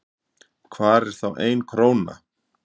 hvar er þá ein króna